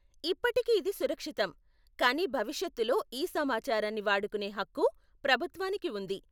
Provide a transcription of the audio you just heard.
ఇప్పటికి ఇది సురక్షితం, కానీ భవిష్యత్తులో ఈ సమాచారాన్ని వాడుకునే హక్కు ప్రభుత్వానికి ఉంది.